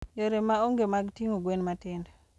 Yore ma onge mag ting'o gwen matindo.